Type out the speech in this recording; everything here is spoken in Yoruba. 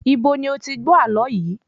Ibo ni o ti gbó àlọ yìí?